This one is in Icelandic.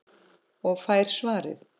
Og fær svarið